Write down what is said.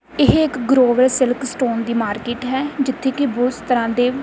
ਇਹ ਇੱਕ Grover silk stone ਦੀ ਮਾਰਕੇਟ ਹੈ ਜਿੱਥੇ ਕੀ ਬੂਸ ਤਰਹਾਂ ਦੇ--